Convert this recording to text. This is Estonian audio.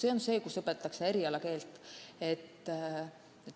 Ka nii saab õppida erialakeelt.